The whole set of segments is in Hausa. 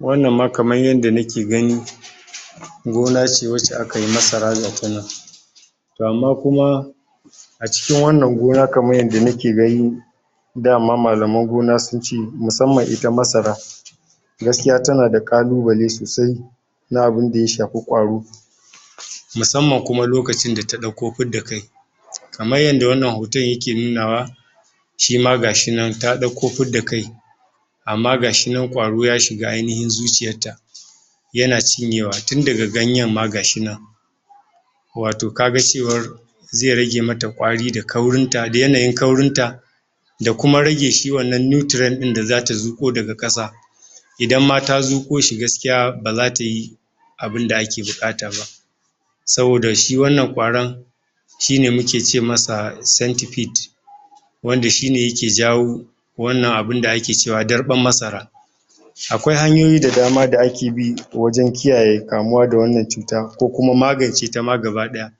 wannan ma kamar yadda na ke gani gona ce wacce akayi masara gatanan to amma kuma a cikin wannan gona kamar yadda nake gani dama malaman gona suce musamman ita masara gaskiya tana da kalu bale sosai na abin da ya shafi kwaro masamma kuma lokacin da ta dauko fidda kai kar yadda wannan hoton ya ke nunawa shi ma gashinan ta dauko fidda kai amma ga shinan kwaro ya shiga aynihin zuciyar ta yana cinyewa tun daga ganyan ma gashi nan wato kaga cewar zai rage mata kwari da kaurin ta, da yanayin kaurin ta ya kuma rage shi wannan nuteren din da za ta zuko daga kasa idan ma ta zuko shi gaskiya ba za ta yi abin da ake bukata ba saboda shi wannan kwaron shi ne muke ce masa santifit [centifit] wanda shi ne ya ke jawo wannan abin da ake cewa darban masara awai hanyoyi da dama da ake bi wajan kiyaye wa da kamuwa da wannan cuta ko kuma magance ta ma gaba daya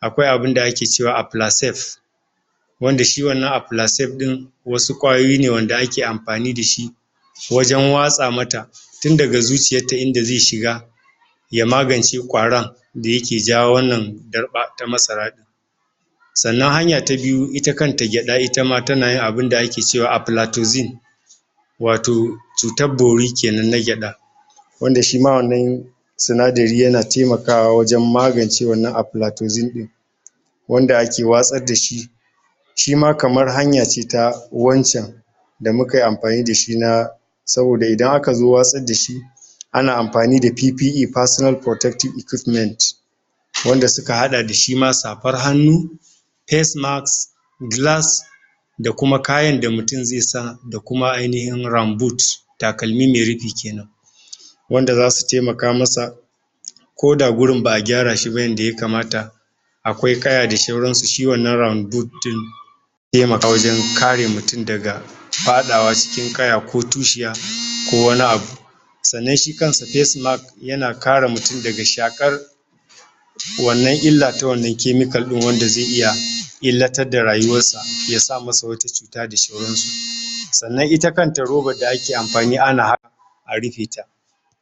akwai abin da ake cewa afilasef [Appllasef] wanda shi wannan a fila saif din wasu kwayoyi ne wanda ake amfani da shi wajan watsa mata tin daga zuciyarta inda zai shiga ya magance kwaron da yake jawo wannan darba na masara sannan hanya ta biyu ita kanta gyada itama tana yin wani abun da ake cewa Afulatozin [Aplatixin] wato cutar bori kenan na gyada wanda shima wannan sinadari yana temakawa wajan magance afilatozim [Aplatoxim] din wanda ake watsar da shi shi ma kamar hanya ce ta wancan da mukayi amfani da shi na saboda idan aka zo watsar da shi ana amfani da fifi'i fasinal furotektif ikufiment [PPE personal protective equipment] wanda suka hada da shima safar hannu a sinacs gilas [ fesmaks gilas [face-mask glass] da kuma kayan da mutum zai sa da kuma ai nihin ranbut [ramboot] takalmi mai rufi kenan wanda za su trmaka masa koda gurin ba a gyara shi ba yanda ya kamata zai temaka wajan kare mutum daga fadawa cikin kaya ko tushiya ko wani abu sannan shi kanshi fasmask yana kare mutum daga shakar wannan illa ta wannan kemikal din wanda zai iya illatar da rayuwarsa ya sa mata wata cuta da sauran susannan ita kanta robar da ake sata ana amfani ana a rufeta